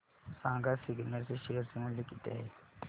सांगा सिग्नेट चे शेअर चे मूल्य किती आहे